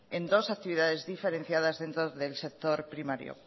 en dos actividades diferenciadas dentro del sector primario